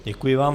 Děkuji vám.